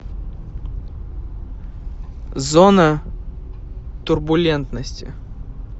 зона турбулентности